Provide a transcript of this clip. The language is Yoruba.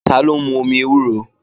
Taló ń mú omi ewúro?